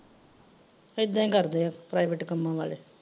ਇੱਦਾਂ ਈ ਕਰਦੇ ਆ private ਕੱਮਾ ਵਾਲੇ।